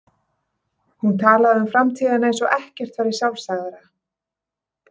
Hún talaði um framtíðina eins og ekkert væri sjálfsagðara.